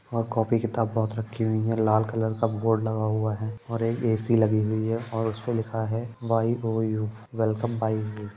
और कॉपी किताब बहोत रखी हुई है लाल कलर का बोर्ड लगा हुआ है और एक ए_सी लगी हुई है और उसमे लिखा है वाई_ओ_यू वेलकम वाई_ओ_यू --